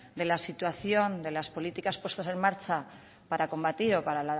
de la situación de las políticas puestas en marcha para combatir o para